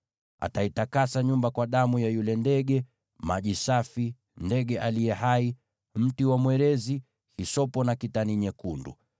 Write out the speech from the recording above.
Ataitakasa nyumba kwa damu ya yule ndege, maji safi, ndege aliye hai, mti wa mwerezi, hisopo na kitani nyekundu.